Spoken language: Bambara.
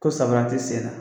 Ko sabara ti sen na.